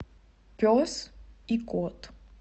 пес и кот